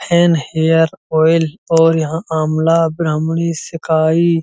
hair oil और यहाँ अमला ब्राह्मणी सिकाई --